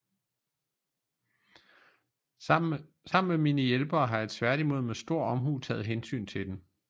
Sammen med mine hjælpere har jeg tværtimod med stor omhu taget hensyn til den